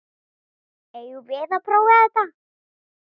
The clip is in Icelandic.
Eigum við að prófa þetta?